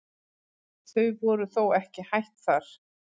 Þau voru þó ekki hætt þar.